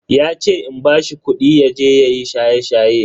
Yace in bashi kudi yaje yayi shaye-shaye.